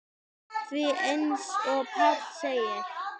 Því eins og Páll segir